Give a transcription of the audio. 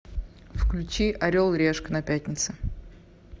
включи орел решка на пятнице